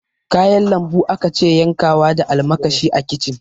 Kayan lambu akace yankawa da almakashi a kicin